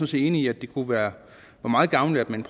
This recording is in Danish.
set enig i at det kunne være meget gavnligt at man